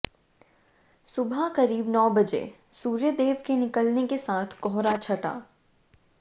सुबह करीब नौ बजे सूर्यदेव के निकलने के साथ कोहरा छटा